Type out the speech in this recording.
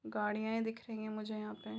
गाड़िया दिख रही है मुझे यहा पे --